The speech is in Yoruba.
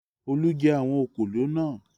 Olú jẹ àwọn òkòló náà.